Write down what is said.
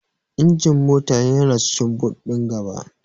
Injin mota yana cikin boot ɗin gaba.